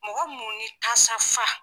Mɔgɔ mun ni tasa fa.